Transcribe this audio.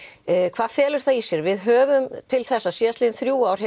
hvað felur það í sér við höfum til þessa síðustu þrjú ár